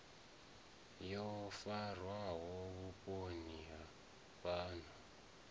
yo farwaho vhuponi ha fhano